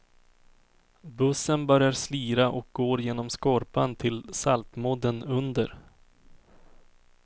Bussen börjar slira och går genom skorpan till saltmodden under.